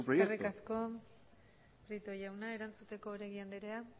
es su proyecto eskerrik asko prieto jauna erantzuteko oregi andrea